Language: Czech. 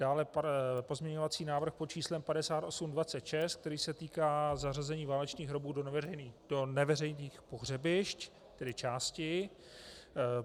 Dále pozměňovací návrh pod číslem 5826, který se týká zařazení válečných hrobů do neveřejných pohřebišť, tedy části.